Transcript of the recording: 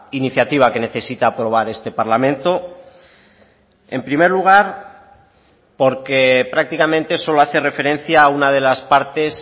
iniciativa que necesita aprobar este parlamento en primer lugar porque prácticamente solo hace referencia a una de las partes